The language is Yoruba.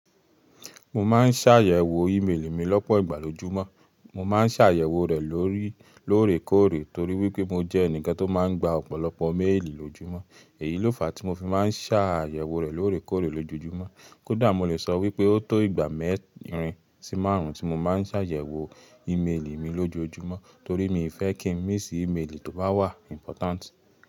Mo máa ń ṣàyèwò íméélì mi lọ́pọ̀ ìgbà lójúmọ́. Mo máa ń ṣàyèwò rẹ̀ lóòrèkóòrè torí wípé mo jẹ́ ẹnìkan tó máa ń gba ọ̀pọ̀lọpọ̀ méélì lójúmọ́. Èyí ló fàá tí mo fi máa ń ṣàyèwò rẹ̀ lóòrèkóòrè lójoojúmọ́. Kó dà, mo lè sọ wípé o tó ìgbà mẹ́rin sí márùn ún tí mo máa ń ṣàyẹ̀wò ìméèlì mi lójoojúmọ́ torí mi fẹ́ kí n mí sì ímélì tó bá wà important.